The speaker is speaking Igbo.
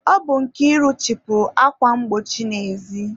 Ọ bụ Nkiru chịpụrụ akwa mgbochi n'ezi.